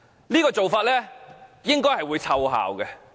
這做法應該會奏效。